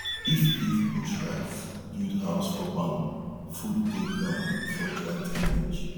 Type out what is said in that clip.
if if bush rat build house for barn food dey ground before dry time reach